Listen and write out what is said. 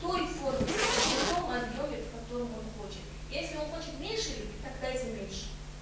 той форме в том объёме в котором он хочет если он хочет меньше ли быть тогда эти меньше